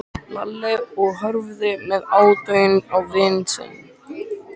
Lalli og horfði með aðdáun á vin sinn.